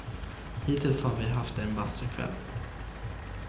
Hittills har vi haft en bastukväll.